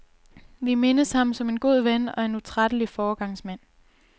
Vi mindes ham som en god ven og en utrættelig foregangsmand.